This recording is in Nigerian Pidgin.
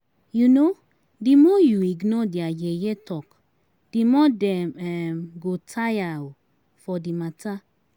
um Di more you ignore their yeye talk di more dem um go tire um for di matter